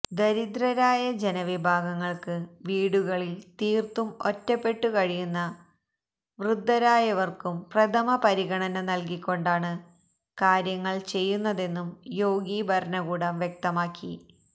ദരിദ്രരായ ജനവിഭാഗങ്ങള്ക്കും വീടുകളില് തീര്ത്തും ഒറ്റപ്പെട്ടു കഴിയുന്ന വൃദ്ധരായ വര്ക്കും പ്രഥമപരിഗണന നല്കിക്കൊണ്ടാണ് കാര്യങ്ങള് ചെയ്യുന്നതെന്നും യോഗി ഭരണകൂടം വ്യക്തിമാക്കി